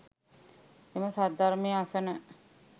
එම සද්ධර්මය අසන,